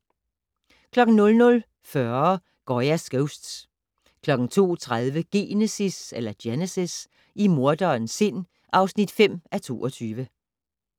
00:40: Goya's Ghosts 02:30: Genesis - i morderens sind (5:22)